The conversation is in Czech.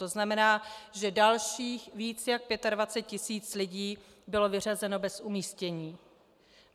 To znamená, že dalších víc než 25 tisíc lidí bylo vyřazeno bez umístění.